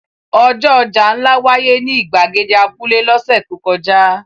Ọjọ́ ọjà ńlá wáyé ní ìgbàgede abúlé lọ́sẹ̀ tó kọjá.